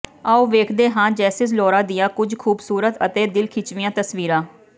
ਆਓ ਵੇਖਦੇ ਹਾਂ ਜੈਸਿਮ ਲੋਰਾ ਦੀਆਂ ਕੁਝ ਖੂਬਸੂਰਤ ਅਤੇ ਦਿਲਖਿੱਚਵੀਆਂ ਤਸਵੀਰਾਂ